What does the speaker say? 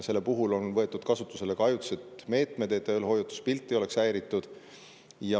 Selle puhul on võetud kasutusele ka ajutised meetmed, et eelhoiatuspilt ei oleks häiritud.